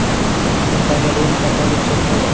Toshkentdagi Rim-katolik cherkovi.